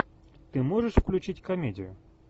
ты можешь включить комедию